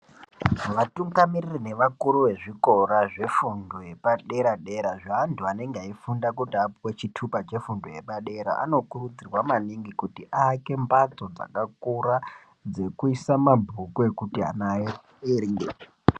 Vatungamirira nevakuru vezvikora zvefundo yepadera dera zveantu anenge eifunda kuti apuwe chitupa chefundo yepadera ,anokurudzirwa maningi kuti aake mbatso dzakakura maningi dzekuisa mabhuku ekuti ana aerengere.